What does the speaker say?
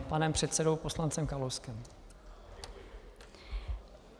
Ano, panem předsedou poslancem Kalouskem.